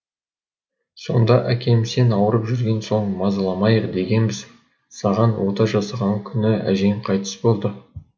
сонда әкем сен ауырып жүрген соң мазаламайық дегенбіз саған ота жасаған күні әжең қайтыс болды